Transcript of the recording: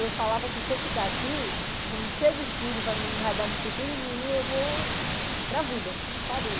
Eu falava assim, se eu ficar aqui, eu vou me encher de filho, não vai dar futuro nenhum, eu vou para a vida, sabe?